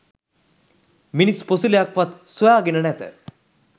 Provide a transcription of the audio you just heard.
මිනිස් පොසිලයක්වත් සොයාගෙන නැත